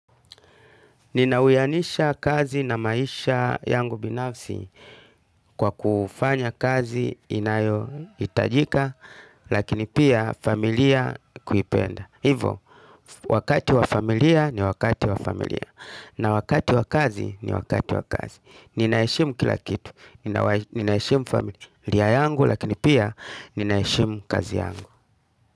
Ninauianisha kazi na maisha yangu binafsi kwa kufanya kazi inayoitajika lakini pia familia kuipenda. Hivo, wakati wa familia ni wakati wa familia na wakati wa kazi ni wakati wa kazi. Ninaeshimu kila kitu, ninaeshimu familia yangu lakini pia ninaeshimu kazi yangu.